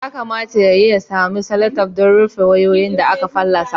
Kamata ya yi ya sami selotef don rufe wayoyi da aka fallasa